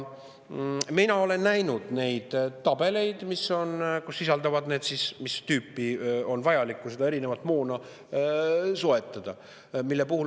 Mina olen näinud tabeleid, kus sisaldub see, mis tüüpi erinevat moona on vaja soetada.